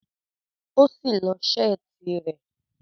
O si lọ́ seeti rẹ